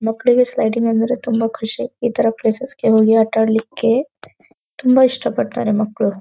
ಮಕ್ಕಳಿಗೆ ಸ್ಲೈಡಿಂಗ್ ಅಂದ್ರೆ ತುಂಬ ಖುಷಿ ಈ ತರ ಪ್ಲೇಸಸ್ ಗೆ ಹೋಗಿ ಆಟ ಆಡ್ಲಿಕೆ ತುಂಬ ಇಷ್ಟ ಪಡ್ತಾರೆ ಮಕ್ಕಳು.